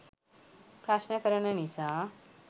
ප්‍රශ්න කරන නිසා.